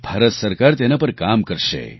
ભારત સરકાર તેના પર કામ કરશે